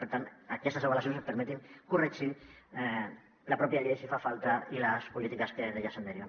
per tant que aquestes avaluacions ens permetin corregir la pròpia llei si fa falta i les polítiques que d’ella se’n deriven